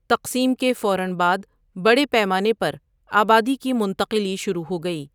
تقسیم کے فوراً بعد بڑے پیمانے پر آبادی کی منتقلی شروع ہو گئی۔